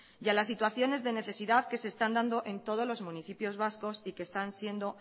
y a las situaciones de necesidad que se están dando en todos los municipios vascos y que están siendo